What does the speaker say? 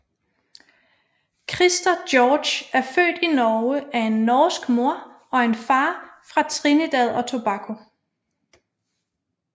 Christer George er født Norge af en norsk mor og en far fra Trinidad og Tobago